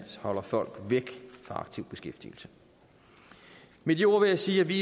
holder folk væk fra aktiv beskæftigelse med de ord vil jeg sige at vi